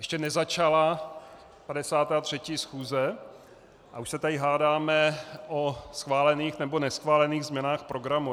Ještě nezačala 53. schůze a už se tady hádáme o schválených nebo neschválených změnách programu.